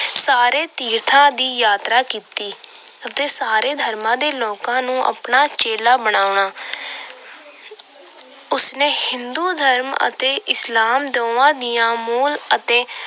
ਸਾਰੇ ਤੀਰਥਾਂ ਦੀ ਯਾਤਰਾ ਕੀਤੀ ਅਤੇ ਸਾਰੇ ਧਰਮਾਂ ਦੇ ਲੋਕਾਂ ਨੂੰ ਆਪਣਾ ਚੇਲਾ ਬਣਾਉਣਾ। ਉਸ ਨੇ ਹਿੰਦੂ ਧਰਮ ਅਤੇ ਇਸਲਾਮ ਦੋਹਾਂ ਦੀਆਂ ਮੋਲ ਅਤੇ